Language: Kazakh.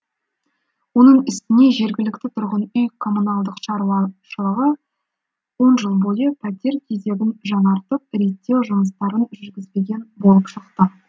оның үстіне жергілікті тұрғын үй коммуналдық шаруашылығы он жыл бойы пәтер кезегін жаңартып реттеу жұмыстарын жүргізбеген болып шықты